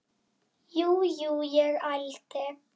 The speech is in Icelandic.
Jú, jú, ég ældi.